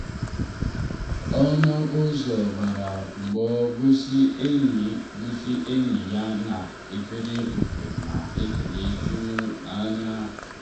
ọnụ ụzọ gbara mgbo gosi enyi gosi enyi ya na efere ofe na ekele tụrụ n’anya.